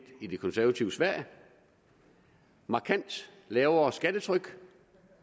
i det konservative sverige markant lavere skattetryk